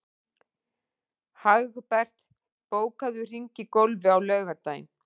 Hagbert, bókaðu hring í golf á laugardaginn.